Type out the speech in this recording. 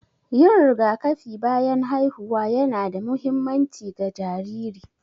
Yin rigakafi bayan haihuwa ƴana da muhimmanci ga jariri.